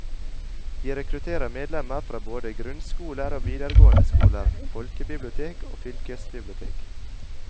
Vi rekrutterer medlemmer fra både grunnskoler og videregående skoler, folkebibliotek og fylkesbibliotek.